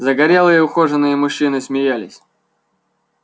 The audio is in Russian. загорелые ухоженные мужчины смеялись